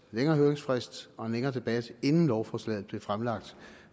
længere høringsfrist og en længere debat inden lovforslaget blev fremlagt